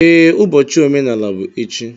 Ee, ụbọchị omenala bụ echi.